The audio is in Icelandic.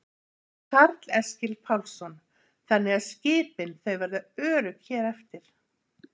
Karl Eskil Pálsson: Þannig að skipin þau verða örugg hér eftir?